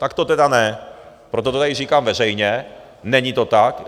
Tak to tedy ne, proto to tady říkám veřejně, není to tak.